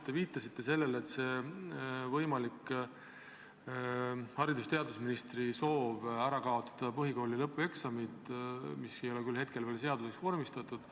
Te viitasite haridus- ja teadusministri võimalikule soovile kaotada ära põhikooli lõpueksamid, mis ei ole hetkel küll veel seaduseks vormistatud.